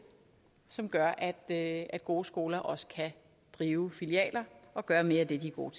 som gør at at gode skoler også kan drive filialer og gøre mere af det de er gode